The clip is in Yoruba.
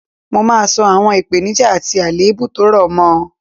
Mo máa sọ àwọn ìpeníjà àti àlèébù tó rọ̀ mọ